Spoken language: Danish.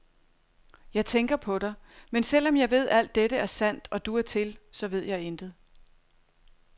Jeg tænker på dig, men selv om jeg ved, alt dette er sandt, og du er til, så ved jeg intet.